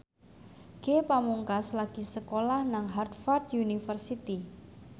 Ge Pamungkas lagi sekolah nang Harvard university